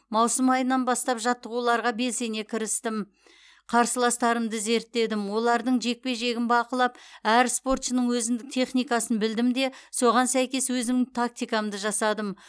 маусым айынан бастап жаттығуларға белсенді кірістім қарсыластарымды зерттедім олардың жекпе жегін бақылап әр спортшының өзіндік техникасын білдім де соған сәйкес өзімнің тактикамды жасадым